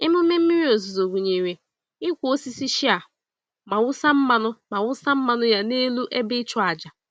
Emume mmiri ozuzo gụnyere ịkwọ osisi shea ma wụsa mmanụ ma wụsa mmanụ ya n'elu ebe ịchụàjà.